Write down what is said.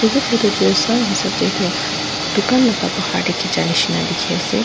edu photo de sa hisap de tu dukha la bahar de khiche nishe ase.